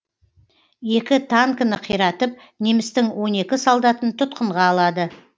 екі танкіні қиратып немістің он екі солдатын тұтқынға алады